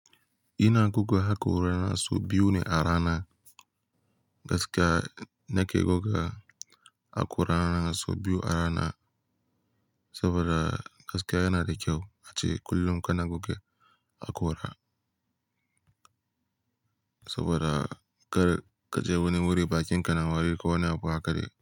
Ina goga haƙora, sau biyu ne a rana. Gaskiya nake goga haƙora na sau biyu a rana, saboda gaskiya yana da kyau ace kullum ka na goge haƙora, saboda kar kaje wani wuri bakinka na wari ko wani abu haka dai.